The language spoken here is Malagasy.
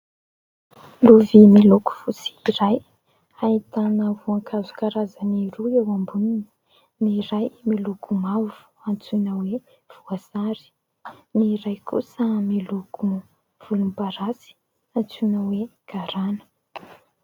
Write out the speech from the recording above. Lovia miloko fotsy iray, ahitana voankazo karazany roa eo amboniny. Ny iray miloko mavo antsoina hoe voasary, ny iray kosa miloko volomparasy antsoina hoe garana.